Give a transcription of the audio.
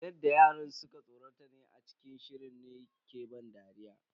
Yadda yaran suka tsorata ne a cikin shirin ne ke bani dariya.